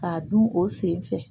K'a dun o sen fɛ